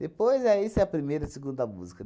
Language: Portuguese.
Depois, aí essa é a primeira, segunda música.